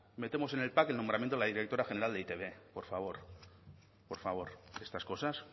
metemos en el pack el nombramiento de la directora general de e i te be por favor por favor estas cosas